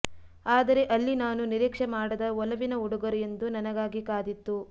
ಆದರೆ ಅಲ್ಲಿ ನಾನು ನಿರೀಕ್ಷೆ ಮಾಡದ ಒಲವಿನ ಉಡುಗೊರೆಯೊಂದು ನನಗಾಗಿ ಕಾದಿತ್ತು